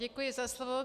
Děkuji za slovo.